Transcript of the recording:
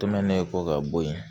Tomɛni kɔ ka bɔ ye